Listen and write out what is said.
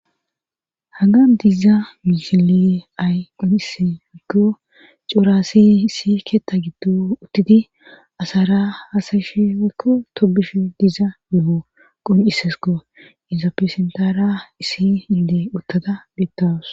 Haga diza misile ay qoncise wekko cooraassi issi keetta giddo uttidi asara hasayishe weykko tobushe diza no.o qoncisesko inzapesentara issi inde uttada bettawus.